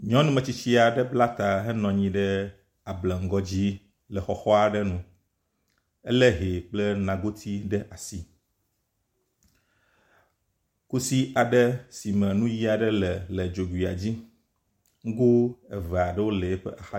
nyɔnu metsitsiaɖe bláta he nɔnyi ɖe ableŋgɔ dzi le xɔxɔaɖe nu éle hɛ kple nagoti ɖe asi kusi aɖe sime nuyi aɖe le le dzoguia dzi ŋgó eveaɖewo le iƒe axadzi